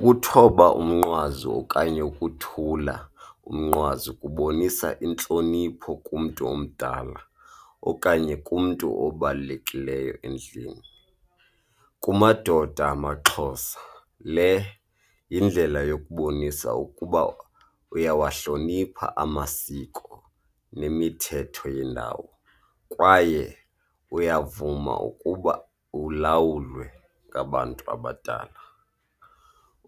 Ukuthoba umnqwazi okanye ukuthula umnqwazi kubonisa intlonipho kumntu omdala okanye kumntu obalulekileyo endlini. Kumadoda amaXhosa le yindlela yokubonisa ukuba uyawahlonipha amasiko nemithetho yendawo kwaye uyavuma ukuba ulawulwe ngabantu abadala.